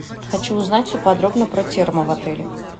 хочу узнать все подробно про термо в отеле